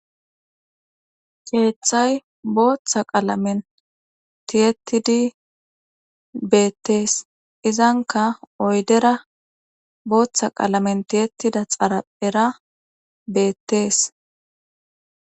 keeththay booththa qalamen tiyettidi beettees izanka oydera booththa qalamen tiyettida xaraphera beettees